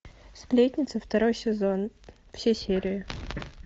сплетница второй сезон все серии